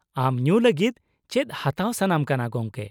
ᱟᱢ ᱧᱩ ᱞᱟᱹᱜᱤᱫ ᱪᱮᱫ ᱦᱟᱛᱟᱣ ᱥᱟᱱᱟᱢ ᱠᱟᱱᱟ ᱜᱚᱝᱠᱮ ?